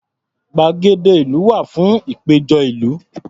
Gbàgede ìlú wà fún ìpéjọ ìlú.